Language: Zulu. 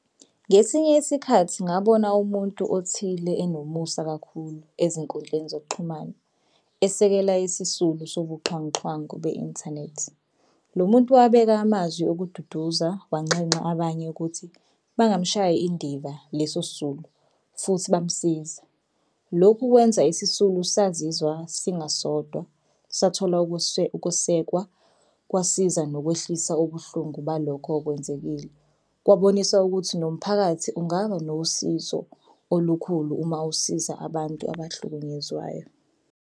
Ngesinye isikhathi ngabona umuntu othile enomusa kakhulu ezinkundleni zokuxhumana, esekela isisulu sobuxhwanguxhwangu be-inthanethi. Lo muntu wabeka amazwi okududuza wanxenxa abanye ukuthi bangamshayi indiva leso sisulu futhi bamsiza. Lokhu kwenza isisulu sazizwa singasodwa sathola ukwesekwa kwasiza nokwehlisa ubuhlungu balokho okwenzekile. Kwabonisa ukuthi nomphakathi ungaba nosizo olukhulu uma usiza abantu abahlukunyezwayo.